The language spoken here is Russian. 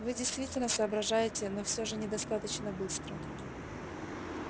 вы действительно соображаете но всё же недостаточно быстро